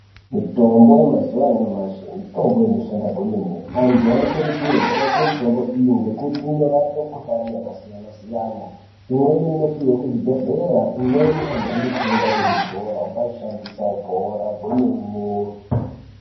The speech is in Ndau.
Mitombo yemazuva anyamashi mitombo inoshanda kwemene antu anokurudzirwa kushandisa mitombo iyi ngekuti inorapa mikuhlani yakasiyana-siyana. Imweni inopihwa kuzvibhedhlera. Imweni anhu anotenga kuzvitoro obaishandisa kwemene.